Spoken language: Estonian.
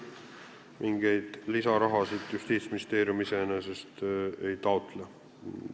Mingit lisaraha Justiitsministeerium iseenesest siinjuures ei taotle.